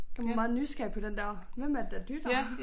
Man var meget nysgerrig på den der hvem er det der dytter